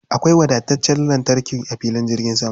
Akwai wadataccen wutar lantarki a filin jirgin sama.